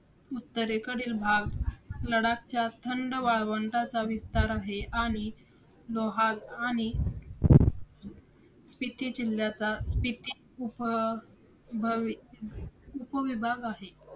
उत्तरेकडील भाग लडाखच्या थंड वाळवंटाचा विस्तार आहे. आणि लोहाल आणि स्पिती जिल्ह्याचा स्पिती उप~ भवि~ उपविभाग आहे.